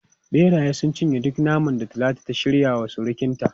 Beraye sun cinye duk naman da Talatu ta shirya wa surukinta.